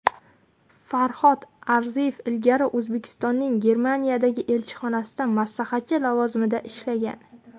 Farhod Arziyev ilgari O‘zbekistonning Germaniyadagi elchixonasida maslahatchi lavozimida ishlagan.